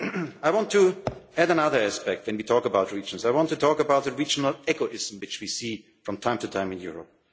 world. I want to add another aspect when we talk about regions. I want to talk about the regional egoism which we see from time to time in